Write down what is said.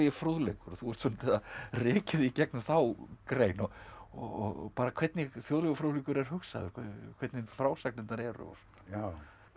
fróðleikur og þú ert svolítið að rekja þig í gegnum þá grein og bara hvernig þjóðlegur fróðleikur er hugsaður hvernig frásagnirnar eru já